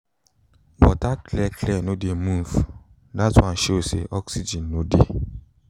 water clear clear no dey move that one show say oxygen no dey